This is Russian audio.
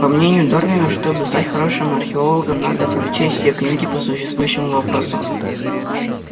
по мнению дарвина чтобы стать хорошим археологом надо прочесть все книги по существующему вопросу